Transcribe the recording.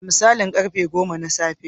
Da misalin karfe goma na safe.